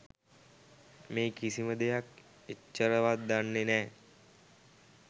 මේ කිසිම දෙයක් එච්චරවත් දන්නෙ නෑ.